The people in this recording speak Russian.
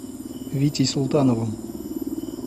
витей султановым